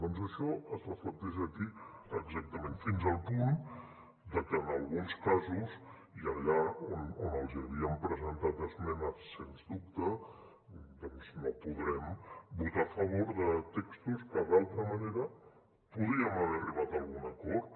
doncs això es reflecteix aquí exactament fins al punt de que en alguns casos i allà on els havíem presentat esmenes sens dubte no podrem votar a favor de textos que d’altra manera podíem haver arribat a algun acord